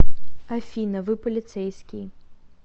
афина вы полицейский